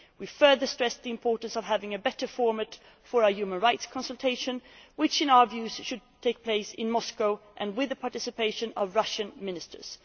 We further stressed the importance of having a better format for our human rights consultation, which in our view should take place in Moscow and with the participation of Russian ministers.